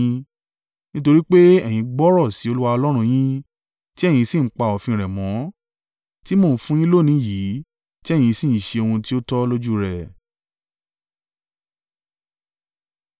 Nítorí pé ẹ̀yin gbọ́rọ̀ sí Olúwa Ọlọ́run yín, tí ẹ̀yin sì ń pa òfin rẹ̀ mọ́, tí mo ń fún un yín lónìí yìí, tí ẹ̀yin sì ń ṣe ohun tí ó tọ́ lójú rẹ̀.